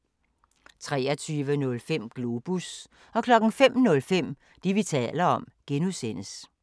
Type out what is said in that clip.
23:05: Globus 05:05: Det, vi taler om (G)